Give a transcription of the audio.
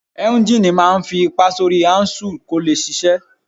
Éúnjínì máa n fi ipá sórí áúnsùl kó lè ṣiṣẹ́